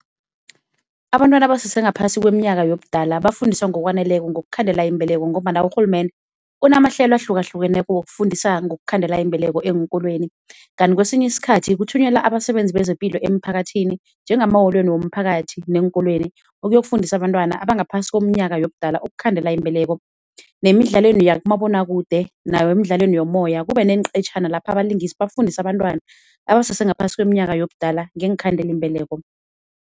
Abantwana abasese ngaphasi kweminyaka yobudala bafundiswa ngokwaneleko ngokukhandela imbeleko ngombana urhulumende unamahlelo ahlukahlukeneko wokufundisa ngokukhandela imbeleko eenkolweni. Kanti kwesinye isikhathi kuthunyelwa abasebenzi bezepilo emphakathini njengamaholweni womphakathi neenkolweni ukuyokufundisa abantwana abangaphasi komnyaka yobudala ukukhandela imbeleko. Nemidlalweni yakumabonakude emidlalweni yomoya kube neenqetjhana lapha abalingisi bafundisa abantwana abasese ngaphasi kweminyaka yobudala ngeenkhandelimbeleko.